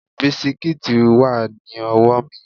Bisikíìtì wà ní ọwọ́ mi